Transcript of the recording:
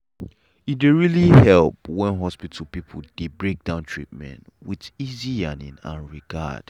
e dey really help when hospital people dey breakdown treatment with easy yarning and regard.